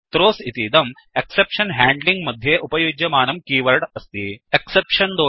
throws इतीदं exception handling exception handling मध्ये उपयुज्यमानं कीवर्ड् अस्ति